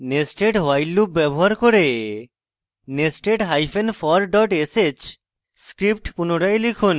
nested while loop ব্যবহার করে nested hyphen for dot sh script পুনরায় লিখুন